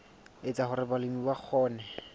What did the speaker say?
etsa hore balemi ba kgone